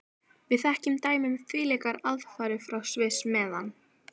Við þekkjum dæmi um þvílíkar aðfarir frá Sviss, meðan